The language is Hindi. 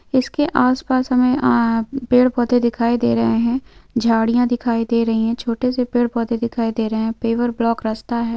इसके आस पास हमें आ पेड़ पौधे दिखाई दे रहे है झाड़ियां दिखाई दे रही है छोटे से पेड़ पौधे दिखाई दे रहे है पेवर ब्लॉक रस्ता है।